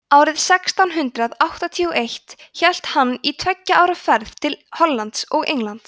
árið sextán hundrað áttatíu og eitt hélt hann í tveggja ára ferð til hollands og englands